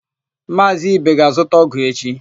Maazị Ibe ga-azụta ọ́gụ̀ echi.